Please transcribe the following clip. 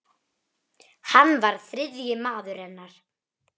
Hann var þriðji maður hennar.